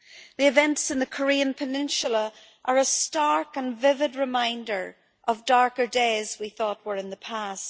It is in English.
The events in the Korean peninsula are a stark and vivid reminder of darker days we thought were in the past.